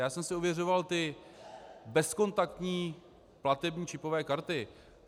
Já jsem si ověřoval ty bezkontaktní platební čipové karty.